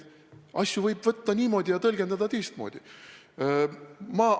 Asju võib võtta ja tõlgendada ühtmoodi ja teistmoodi.